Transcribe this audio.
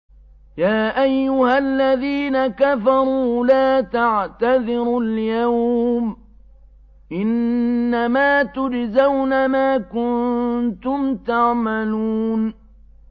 يَا أَيُّهَا الَّذِينَ كَفَرُوا لَا تَعْتَذِرُوا الْيَوْمَ ۖ إِنَّمَا تُجْزَوْنَ مَا كُنتُمْ تَعْمَلُونَ